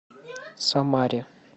самаре